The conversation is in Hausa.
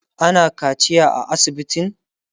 ana kaciya a asibitin?